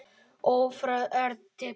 Örfá orð til pabba.